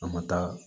A ma taa